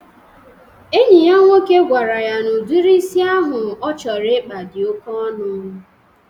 Enyi ya nwoke gwara ya na udiri isi ahụ ọ chọrọ ịkpa di oke ọnụ.